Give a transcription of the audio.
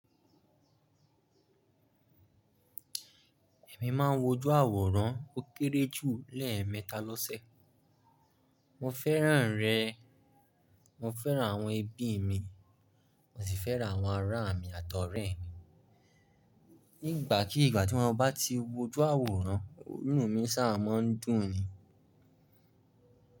Ẹ̀mí máa ń wojú àwòrán ó kéré jù lé ẹ̀ẹ̀mẹta lọ́sẹ̀. Mo fẹ́ràn rẹ̀, mo fẹ́ràn àwọn ẹbí mi, mo sì fẹ́ràn àwọn ará mi àtọrẹ mi. Nígbàkígbà tí mọ́n bá ti wojú àwòrán, inú mi sá máa ń dùn ni.